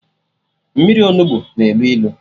Mmiri Onugbu na elu ilu